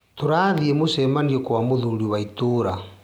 Tũrathie mũcemanio kwa mũthũri wa ĩtũra.